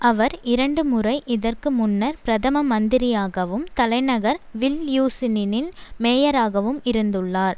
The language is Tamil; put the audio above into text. அவர் இரண்டுமுறை இதற்கு முன்னர் பிரதம மந்திரியாகவும் தலைநகர் வில்யூசினினின் மேயராகவும் இருந்துள்ளார்